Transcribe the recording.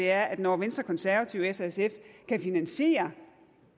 er at når venstre konservative s og sf kan finansiere